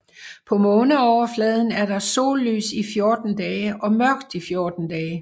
På måneoverfladen er der sollys i 14 dage og mørkt i 14 dage